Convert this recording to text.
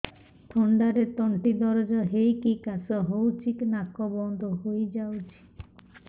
ଥଣ୍ଡାରେ ତଣ୍ଟି ଦରଜ ହେଇକି କାଶ ହଉଚି ନାକ ବନ୍ଦ ହୋଇଯାଉଛି